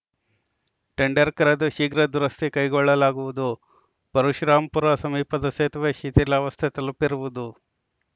tender ಕರೆದು ಶೀಘ್ರ ದುರಸ್ತಿ ಕೈಗೊಳ್ಳುಲಾಗುವುದು ಪರಶುರಾಂಪುರ ಸಮೀಪದ ಸೇತುವೆ ಶಿಥಿಲಾವಸ್ಥೆ ತಲುಪಿರುವುದು